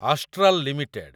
Astral limited